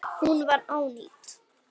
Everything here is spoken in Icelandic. Hún var ónýt.